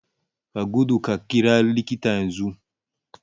Ka gudu ka ƙira likita yanzu